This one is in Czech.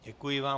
Děkuji vám.